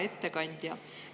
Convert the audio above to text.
Hea ettekandja!